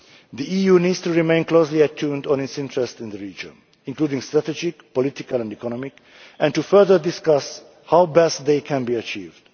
The EU needs to remain closely attuned to its interests in the region, including strategic, political and economic interests, and to further discuss how best they can be achieved.